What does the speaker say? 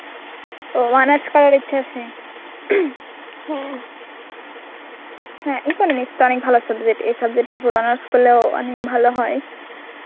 ওহ honours করার ইচ্ছা আছে. হ্যা Economics তো অনেক ভালো subject. এই subject এর পুরো honours করলেও অনেক ভালো হয়